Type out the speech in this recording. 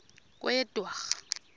kweyedwarha